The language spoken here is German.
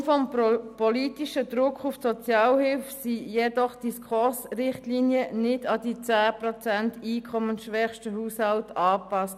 Aufgrund des politischen Drucks auf die Sozialhilfe wurden jedoch die SKOS-Richtlinien nicht an die 10 Prozent einkommensschwächsten Haushalte angepasst.